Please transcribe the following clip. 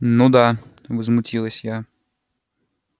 ну да возмутилась я